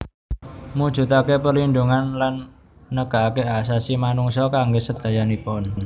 Mujudaken perlindhungan lan negakaken Hak Asasi Manungsa kangge sedayanipun